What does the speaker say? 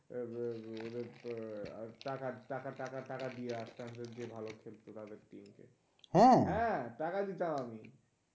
আহ আহ টাকা টাকা টাকা টাকা দিয়ে আনতাম যদি ভালো খেলতো তাহলে হ্যাঁ টাকা দিতাম আমি,